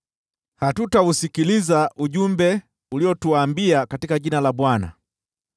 “Hatutausikiliza ujumbe uliotuambia katika jina la Bwana !